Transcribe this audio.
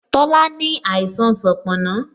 Tola ní àìsàn sanponna